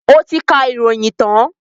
Ó ti kà ìròyìn tán?